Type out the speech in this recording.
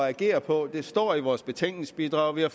at agere på det står i vores betænkningsbidrag og vi har